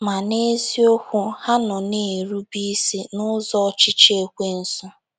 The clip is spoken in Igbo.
Ma, n'eziokwu, ha nọ na-erube isi n'ụzọ ọchịchị Ekwensu".